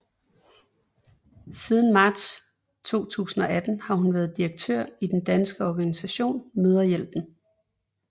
Siden marts 2018 har hun været direktør i den danske organisation Mødrehjælpen